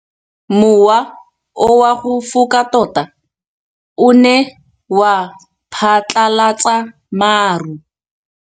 Mowa o wa go foka tota o ne wa phatlalatsa maru.